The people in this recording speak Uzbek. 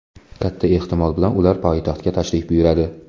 Katta ehtimol bilan ular poytaxtga tashrif buyuradi.